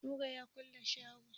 Nura ya kulle shagon kayan kwalliyan shi.